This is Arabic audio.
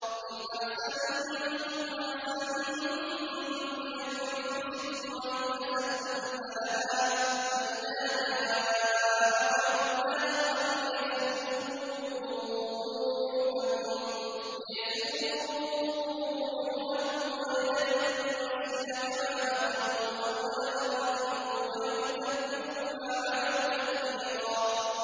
إِنْ أَحْسَنتُمْ أَحْسَنتُمْ لِأَنفُسِكُمْ ۖ وَإِنْ أَسَأْتُمْ فَلَهَا ۚ فَإِذَا جَاءَ وَعْدُ الْآخِرَةِ لِيَسُوءُوا وُجُوهَكُمْ وَلِيَدْخُلُوا الْمَسْجِدَ كَمَا دَخَلُوهُ أَوَّلَ مَرَّةٍ وَلِيُتَبِّرُوا مَا عَلَوْا تَتْبِيرًا